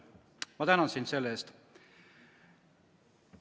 Ma tänan sind selle eest!